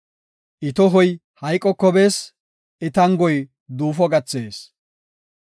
I tohoy hayqoko bees; I tangoy duufo gathees.